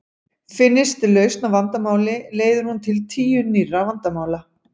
Finnist lausn á vandamáli leiðir hún til tíu nýrra vandamála.